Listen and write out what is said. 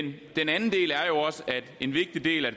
en vigtig del af